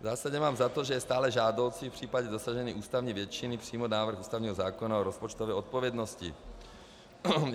V zásadě mám za to, že je stále žádoucí v případě dosažení ústavní většiny přijmout návrh ústavního zákona o rozpočtové odpovědnosti.